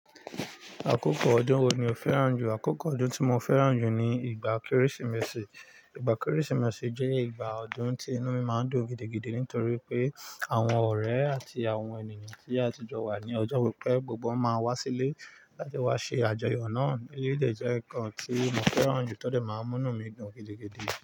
Àkókò ọdún wo ni o fẹ́ràn jù? Àkókò ọdún tí mo fẹ́ràn jù ni ìgbà Kérésìmesì. Ìgbà Kérésìmesì jẹ́ ìgbà ọdún tí inú mi máa ń dùn gidigidi nítorí pé àwọn ọ̀rẹ́ àti àwọn ènìyàn tí a tijọ wa ní ọjọ́ to ti pẹ́ gbogbo won máa wá sílé láti wá ṣe àjọyọ̀ náà. Èleyiií de jẹ́ nǹkan tí mo fẹ́ràn jù, tó dẹ̀ máa ń múnú mi dùn gidigidi.